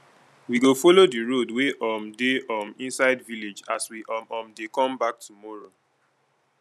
we go folo di road wey um dey um inside village as we um um dey come back tomorrow